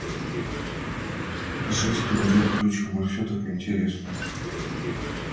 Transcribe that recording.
жизнь тут бьёт ключом и всё так интересно